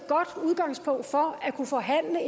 godt udgangspunkt for at kunne forhandle